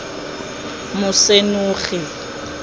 mosenogi